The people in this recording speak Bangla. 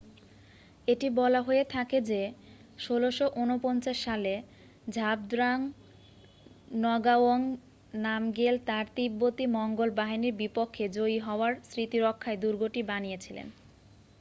এটি বলা হয়ে থাকে যে 1649 সালে ঝাবদ্রাং নগাও্যাং নামগ্যেল তার তিব্বতী মঙ্গোল বাহিনীর বিপক্ষে জয়ী হওয়ার স্মৃতিরক্ষায় দূর্গটি বানিয়েছিলেন